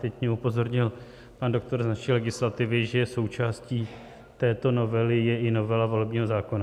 Teď mě upozornil pan doktor z naší legislativy, že součástí této novely je i novela volebního zákona.